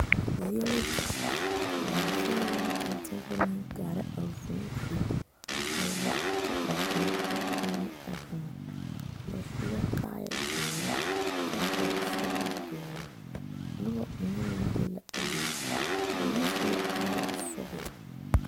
Vūū la di ka laafiiloŋ tontuma meŋ kaare a vūū Zie a wa de ba kõɔ a kpine a vūū ba su la kaaya doɔre kyɛ vɔgle zupele doɔre noba mine meŋ be la a be ba meŋ su la kaaya sɔglɔ.